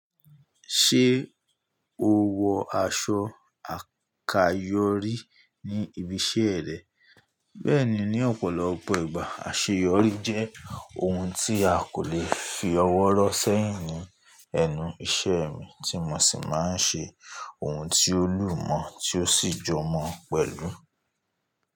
Ṣé o wọ aṣọ àkayòrí ní ibi iṣẹ́ rẹ? Bẹ́ẹ̀ni, ní ọ̀pọ̀lọpọ̀ ìgbà àṣeyọrí jẹ́ ohun tí a kò lè fi ọwọ́ rọ́ sẹ́yìn ní ẹnu ìṣe mi, tí mo sì máa ń ṣe ohun tí ó lù mọ́ tí ó sì jọ mọ́ pẹ̀lú.